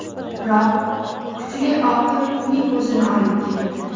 Biroq kuchli oqim uning o‘zini olib ketdi.